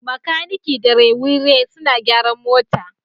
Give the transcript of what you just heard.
Makaniki da Rewire suna gyaran motar